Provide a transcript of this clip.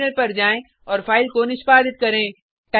terminal पर जाएँ और फाइल को निष्पादित करें